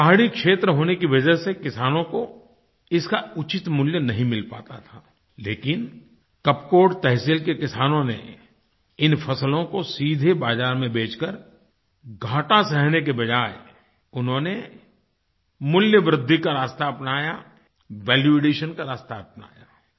पहाड़ी क्षेत्र होने की वजह से किसानों को इसका उचित मूल्य नहीं मिल पाता था लेकिन कपकोट तहसील के किसानों ने इन फसलों को सीधे बाज़ार में बेचकर घाटा सहने के बजाये उन्होंने मूल्य वृद्धि का रास्ता अपनाया वैल्यू एडिशन का रास्ता अपनाया